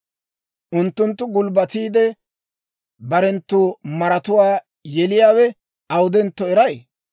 Unttunttu gulbbatiide, barenttu maratuwaa yeliyaawe awudentto eray?